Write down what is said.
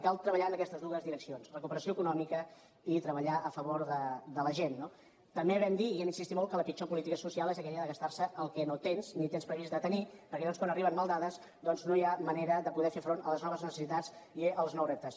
i cal treballar en aquestes dues direccions recuperació econòmica i treballar a favor de la gent no també vam dir i hi hem insistit molt que la pitjor política social és aquella de gastar se el que no tens ni tens previst de tenir perquè llavors quan arriben maldades doncs no hi ha manera de poder fer front a les noves necessitats i als nous reptes